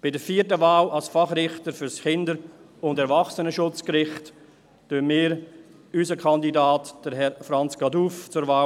Bei der vierten Wahl, Fachrichter für das Kindes- und Erwachsenenschutzgericht, empfehlen wir unseren Kandidaten, Herrn Franz Caduff, zur Wahl.